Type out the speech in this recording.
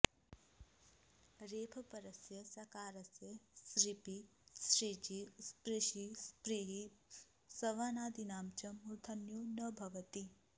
रेफपरस्य सकारस्य सृपि सृजि स्पृशि स्पृहि सवनादीनां च मूर्धन्यो न भवति